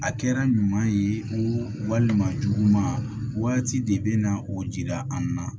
A kɛra ɲuman ye o walima juguma waati de bɛ na o jira an na